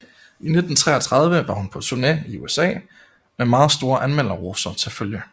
I 1933 var hun på turne i USA med meget store anmelderroser til følge